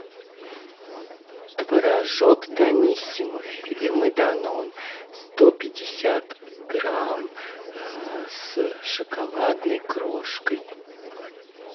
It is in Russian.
творожок даниссимо фирмы данон сто пятьдесят грамм с шоколадной крошкой